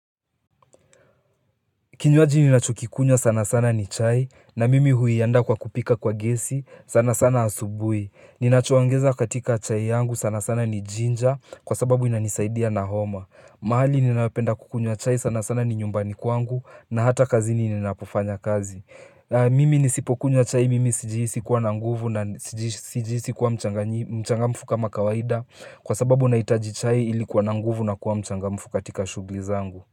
Kinywaji nina chukikunywa sana sana ni chai na mimi huianda kwa kupika kwa gesi sana sana asubuhi Ninachuongeza katika chai yangu sana sana ni jinja kwa sababu inanisaidia na homa mahali ninayependa kukunyo chai sana sana ni nyumbani kwangu na hata kazi ni ninapofanya kazi Mimi nisipokunywa chai mimi sijihisi kuwa na nguvu na sijihisi kuwa mchangamfu kama kawaida Kwa sababu nahitaji chai ilikuwa nanguvu na kuwa mchangamfu katika shugli zangu.